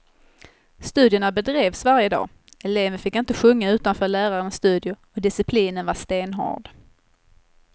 Studierna bedrevs varje dag, eleven fick inte sjunga utanför lärarens studio och disciplinen var stenhård.